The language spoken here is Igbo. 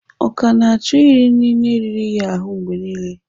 Ọ ka gana achọ iri inine riri ya ahụ mgbe nile?